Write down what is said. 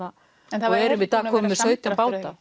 erum í dag komin með sautján báta